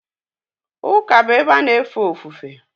ụka bụ ebe a na efe ofufe